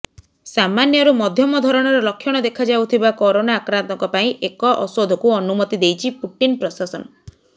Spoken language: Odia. ସାମାନ୍ୟରୁ ମଧ୍ୟମ ଧରଣର ଲକ୍ଷଣ ଦେଖାଯାଉଥିବା କରୋନା ଆକ୍ରାନ୍ତଙ୍କ ପାଇଁ ଏକ ଔଷଧକୁ ଅନୁମତି ଦେଇଛି ପୁଟିନ ପ୍ରଶାସନ